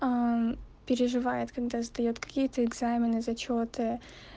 переживает когда сдаёт какие-то экзамены зачёты